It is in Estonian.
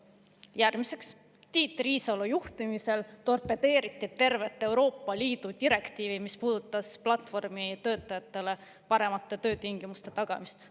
Järgmiseks, Tiit Riisalo juhtimisel torpedeeriti tervet Euroopa Liidu direktiivi, mis puudutas platvormitöötajatele paremate töötingimuste tagamist.